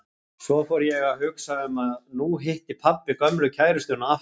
Svo fór ég að hugsa um að nú hitti pabbi gömlu kærustuna aftur.